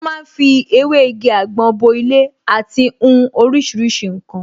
Wọ́n ma ń fi ewé igi àgbọn bo ilé àti hun oríṣiríṣi ǹkan